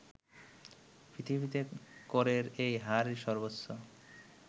পৃথিবীতে করের এই হারই সর্বোচ্চ